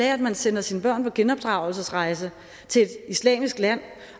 at man sender sine børn på genopdragelsesrejse til et islamisk land